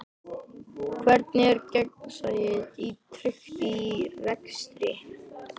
Hvernig er gegnsæi tryggt í rekstri?